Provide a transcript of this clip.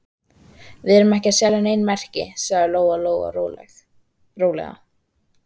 Við erum ekki að selja nein merki, sagði Lóa-Lóa rólega.